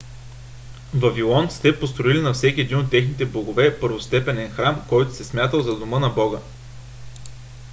вавилонците построили на всеки един от техните богове първостепенен храм който се е смятал за дома на бога